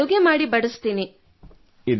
ಮಕ್ಕಳಿಗೆ ಅಡುಗೆ ಮಾಡಿ ಬಡಿಸುತ್ತೇನೆ